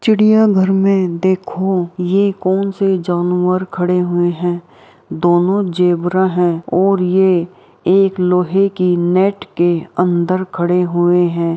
चिड़िया घर में देखो ये कौन से जानवर खड़े हुए हैं ? दोनों ज़ेबरा है और ये एक लोहे के नेट के अंदर खड़े हुए हैं।